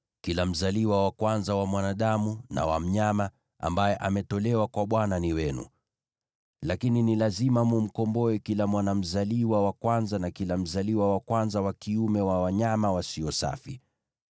Kila mzaliwa wa kwanza wa mwanadamu na wa mnyama, ambaye ametolewa kwa Bwana ni wenu. Lakini ni lazima mtamkomboa kila mwana mzaliwa wa kwanza na kila mzaliwa wa kwanza wa kiume wa wanyama wasio safi.